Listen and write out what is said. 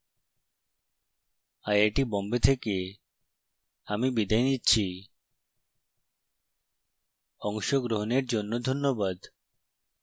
I I T Bombay থেকে আমি বিদায় নিচ্ছি অংশগ্রহনের জন্য ধন্যবাদ